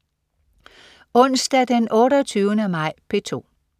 Onsdag den 28. maj - P2: